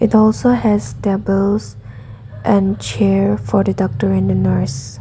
it also has tables and chairs for the doctor in the nurse.